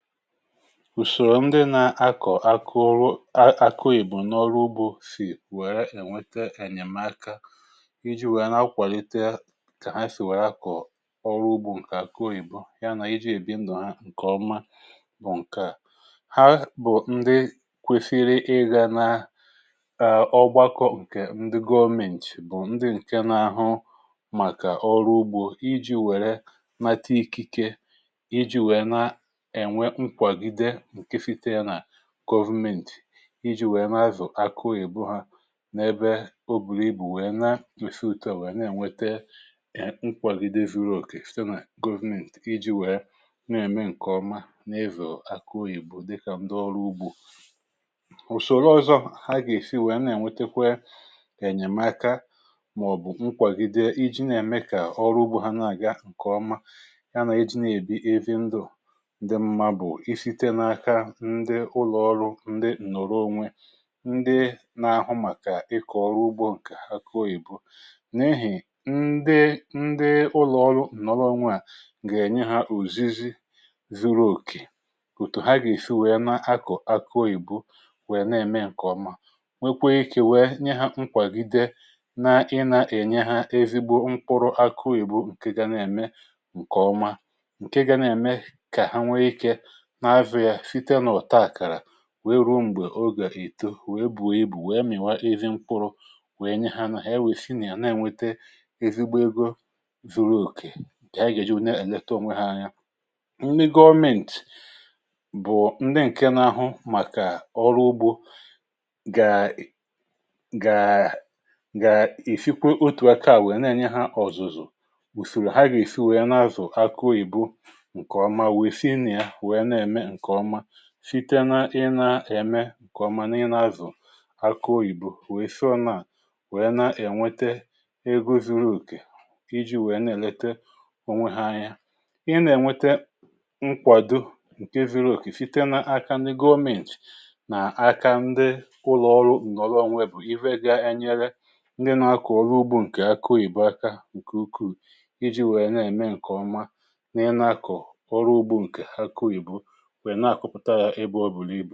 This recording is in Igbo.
ùsòrò ndị na-akọ̀ akụrụ akịoyibo n’ọrụ ugbȯ sì wère ènweta ènyèmaka iji̇ wèe na-akwàlitè kà ha sì wèe akọ̀ ọrụ ugbȯ ǹkè akịoyibo ya nà iji̇ èbindo ha ǹkè ọma bụ̀ ǹkà ha mà ndị kwesiri ịgȧ naa èè ọ gbakọ̇ ǹkè ndị government bụ̀ ndị ǹke n’àhụ màkà ọrụ ugbȯ iji̇ wèrè nata ikike iji wéé na nkwagide nke site ya nà government iji nwèe na-azụ̀ akịoyibo ha n’ebe o bùrù ibù nwèe na-esi ùtuà nwèe na-ènwete nkwàgide zuru òkè site nà government iji nwèe na-ème ǹkèọma na-ivò akụoghìbụ dịkà ndị ọrụ ugbȯ ùsòrò ọzọ ha gà-èsi nwèe na-ènwetekwe kà-ènyèmaka màọ̀bụ̀ nkwàgide iji na-ème kà ọrụ ugbȯ ha na-àga ǹkèọma ndị ụlọ̀ọrụ ndị ǹnọ̀rọ onwe ndị nȧ-ȧhụ̇ màkà ịkọ̀ ọrụ ugbȯ ǹkè akụọ ìbu n’ehì ndị ndị ụlọ̀ọrụ ǹnọrọ onwe à gà-ènye hȧ ùzizi zuru òkè òtù ha gà-èsi wèe na-akọ̀ akụọ ìbu wèe na-ème ǹkè ọma nwekwekwekwe wèe nye hȧ nkwàgide na-ị nȧ-ènye hȧ ezigbo mkpụrụ akụọ ìbu ǹke ga na-ème ǹkè ọma ǹke ga na-ème kà ha nwee ikė wee ruo m̀gbè ogà ìto, wee bùo ibù wee m̀ị̀nwa ezi mkpụrụ wèe nye ha ha èwèsi nà ya na-enwėte ezigbo egȯ zu̇ru̇ òkè ha yȧ gà-èji wụ̀ na-èlete onwe ha anya nri gọmentì bụ̀ ndị ǹke na-ahụ màkà ọrụ ugbȯ gàà gàà èfikwe otù aka wee na-enye ha ọ̀zụ̀zụ̀ wùsòrò ha gà-èsi wèe na-azụ̀ akụụ ìbu site n’ị na-èmè ǹkèọma nà ị na-azụ̀ akụ oyìbo nwèe sọ na à nwèe na-ènwete ego zuru òkè iji̇ nwèe na-èlete onwe ha anya ị nà-ènwete nkwàdo ǹke zuru òkè site n’aka ndị gom�int nà-aka ndị ụlọ̀ọrụ ǹdọdo onwe bụ̀ iwega nyere ndị nȧ-ȧkọ̀ ọrụ ugbȯ ǹkè akụoyìbè aka ǹkè ukwuù iji̇ nwèe na-ème ǹkèọma nà ị nȧ-ȧkọ̀ ọrụ ugbȯ ǹkè akụoyìbè ǹke à bụ̀ ihe à na-àkwụpụ̀ta ya ebė ọ̀bụ̀là ibù